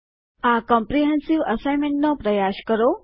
આ ક્મ્પ્રીહેન્સીવ અસાઈન્મેન્ટનો પ્રયાસ કરો